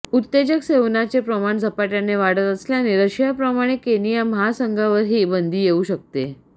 उत्तेजक सेवनाचे प्रमाण झपाट्याने वाढत असल्याने रशियाप्रमाणे केनिया महासंघावरही बंदी येऊ शकते